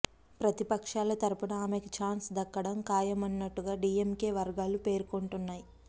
ప్రతి పక్షాల తరఫున ఆమెకు చాన్స్ దక్కడం ఖాయం అన్నట్టుగా డీఎంకే వర్గాలు పేర్కొంటున్నాయి